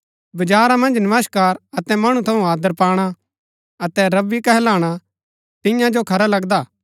बजारा मन्ज नमस्कार अतै मणु थऊँ आदर पाणा अतै रब्बी गुरू कहलवाणा तिईआं जो खरा लगदा